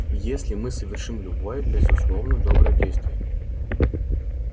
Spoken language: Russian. если мы совершим любое безусловно доброе действие